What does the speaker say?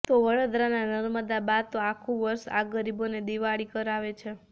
તો વડોદરાનાં નર્મદા બા તો આખું વર્ષ આ ગરીબોને દિવાળી કરાવે છે